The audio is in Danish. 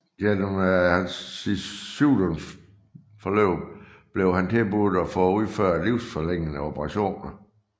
Gennem sit sygdomsforløb blev han tilbudt at få udført livsforlængende operationer